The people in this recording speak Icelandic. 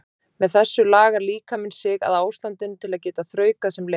með þessu lagar líkaminn sig að ástandinu til að geta þraukað sem lengst